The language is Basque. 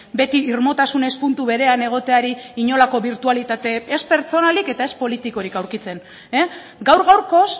beti irmotasunez puntu berean egoteari inolako birtualitate ez pertsonalik eta ez politikorik aurkitzen gaur gaurkoz